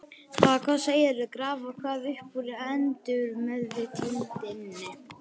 Ha, hvað segirðu, grafa hvað upp úr undirmeðvitundinni?